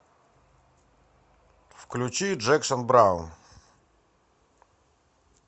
включи джексон браун